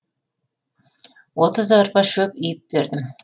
отыз арба шөп үйіп бердім